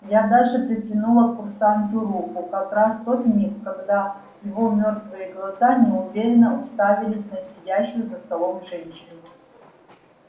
я даже протянула к курсанту руку как раз в тот миг когда его мёртвые глаза неуверенно уставились на сидящую за столом женщину